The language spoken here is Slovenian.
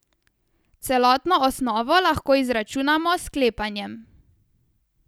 Celotno osnovo lahko izračunamo s sklepanjem.